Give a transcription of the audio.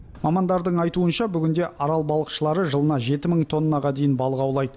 мамандардың айтуынша бүгінде арал балықшылары жылына жеті мың тоннаға дейін балық аулайды